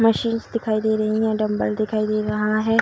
Machines दिखाई दे रहीं हैं डम्बल दिखाई दे रहा है।